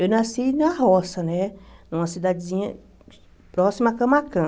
Eu nasci na Roça né, numa cidadezinha próxima a Camacã.